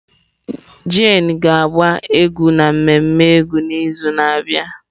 Jane ga-agba egwu n'ememme egwu n'izu na-abịa.